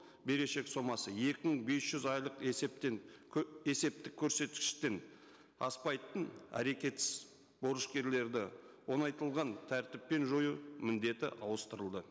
берешек сомасы екі мың бес жүз айлық есептен есептік көрсеткіштен аспайтын әрекетсіз борышкерлерді оңайтылған тәртіппен жою міндеті ауыстырылды